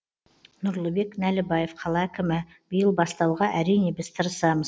нұрлыбек нәлібаев қала әкімі биыл бастауға әрине біз тырысамыз